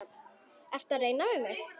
Ertu að reyna við mig?